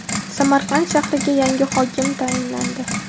Samarqand shahriga yangi hokim tayinlandi.